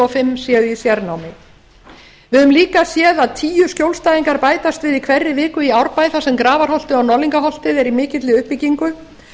fimm séu í fjarnámi við höfum líka séð að tíu skjólstæðingar bætast við í hverri viku í árbæ þar sem grafarholtinu og norðlingaholti er í mikilli uppbyggingu